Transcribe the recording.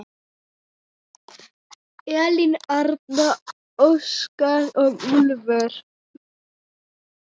Elín Arna, Óskar og Úlfur.